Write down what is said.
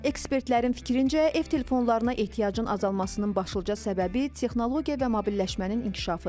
Ekspertlərin fikrincə, ev telefonlarına ehtiyacın azalmasının başlıca səbəbi texnologiya və mobilləşmənin inkişafıdır.